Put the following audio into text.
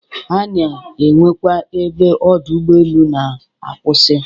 A na-enwekwa ebe Ọdọ ụgbọelu na-akwụsị